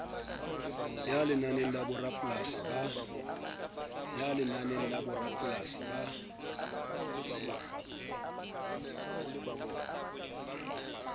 ya lenane la borapolasi ba